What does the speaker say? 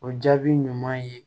O jaabi ɲuman ye